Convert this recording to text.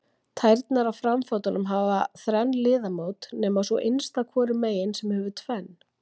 Tærnar á framfótunum hafa þrenn liðamót nema sú innsta hvoru megin sem hefur tvenn.